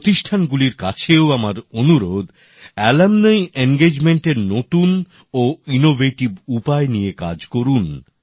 প্রতিষ্ঠানগুলির কাছেও আমার অনুরোধ প্রাক্তনীদের যুক্ত করার নতুন ও উদ্ভাবনী উপায় নিয়ে কাজ করুন